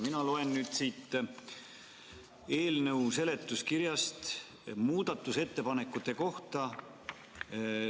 Mina loen siit eelnõu seletuskirjast muudatusettepanekute kohta.